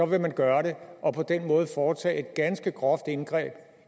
vil gøre det og på den måde foretage et ganske groft indgreb